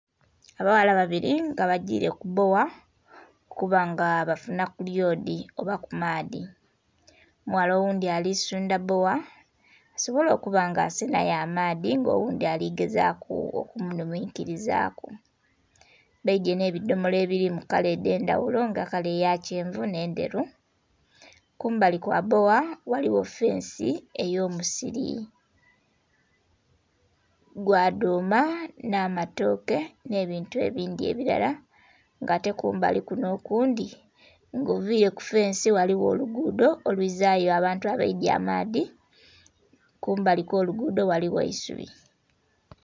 Abawala babiri nga bagiire ku bbowa okuba nga bafunaku ku lyodhi oba ku maadhi, omuwala oghundhi ali sundha bbowa asobole okuba nga asenhayo amaadhi nga oghundhi ali gezaaku okumugumikirizaku. Baidye nh'ebidhomolo ebiri mu kala edh'endhaghulo nga kala eya kyenvu n'endheru. Kumbali kwa bbowa ghaligho fensi ey'omusiri gwa dhuuma n'amatooke n'ebintu ebindhi ebilara, nga ate kumbali kuno okundhi nga ovire ku fensi ghaligho oluguudo olwizaayo abantu abaidye amaadhi, kumbali okw'oluguudo ghaligho eisubi.